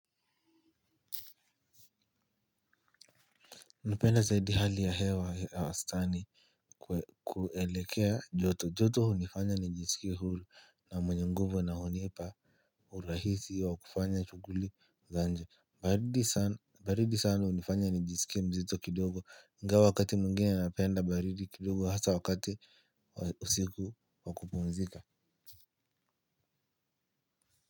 Naupenda zaidi hali ya hewa ya wastani kuelekea joto joto hunifanya nijisikie hulu na mwenye nguvu na hunipa urahisi wa kufanya shuguli za nje baridi sana hunifanya nijisikie mzito kidogo ingawa wakati mwingine napenda baridi kidogo hasa wakati usiku wa kupumzika.